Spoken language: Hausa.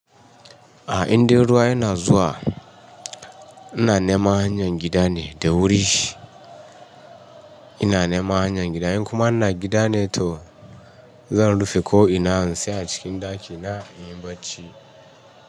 A inda ruwa yana zuwa ina neman hanyar gida ne da wuri. Ina neman hanyar gida in kuma ina gida ne to, zan rufe ko in tsaya a cikin ɗaki na in yi barci.